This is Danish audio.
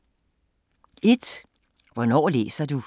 1) Hvornår læser du?